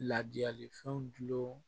Laadiyali fɛnw dulon